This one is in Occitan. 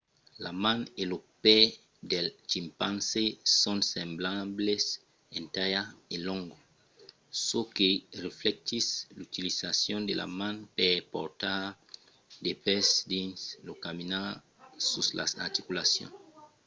la man e lo pè del chimpanzé son semblables en talha e longo çò que reflectís l'utilizacion de la man per portar de pes dins lo caminar sus las articulacions